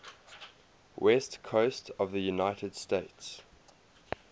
west coast of the united states